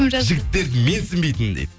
жігіттерді менсінбейтін дейді